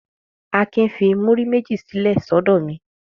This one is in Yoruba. Akin fi múrí méjì sílẹ̀ sọ́dọ̀ mi.